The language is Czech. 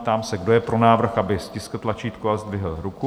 Ptám se, kdo je pro návrh, aby stiskl tlačítko a zdvihl ruku.